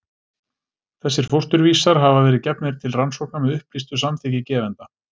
Þessir fósturvísar hafa verið gefnir til rannsókna með upplýstu samþykki gefenda.